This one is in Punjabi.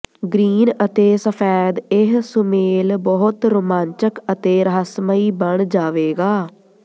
ਗ੍ਰੀਨ ਅਤੇ ਸਫੈਦ ਇਹ ਸੁਮੇਲ ਬਹੁਤ ਰੋਮਾਂਚਕ ਅਤੇ ਰਹੱਸਮਈ ਬਣ ਜਾਵੇਗਾ